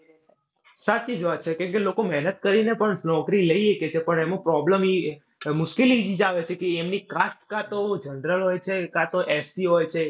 સાચી જ વાત છે. કેમકે લોકો મહેનત કરીને પણ નોકરી લઈ સકે છે પણ એમાં problem ઈ, મુશ્કેલી જ ઈ જ આવે છે કે એમની cast કાં તો general હોય છે કાં તો ST હોય છે.